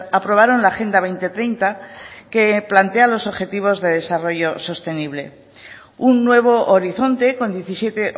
aprobaron la agenda dos mil treinta que plantea los objetivos de desarrollo sostenible un nuevo horizonte con diecisiete